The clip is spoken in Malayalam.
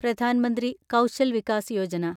പ്രധാൻ മന്ത്രി കൗശൽ വികാസ് യോജന